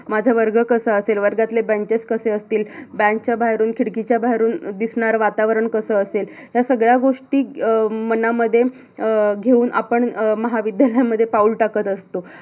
माझा वर्ग कसा असेल? वर्गातील benches कसे असतील? बाहेरून, खिडकीच्या बाहेरून दिसणार वातावरण कस असेल? या सगळ्या गोष्टी अं मनामध्ये अं घेऊन आपण महाविद्यालयामध्ये पाऊल टाकत असतो.